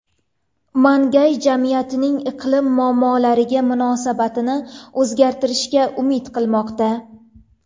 Mangay jamiyatning iqlim muammolariga munosabatini o‘zgartirishga umid qilmoqda.